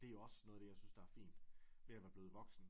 Det også noget af det jeg synes der er fint ved at være blevet voksen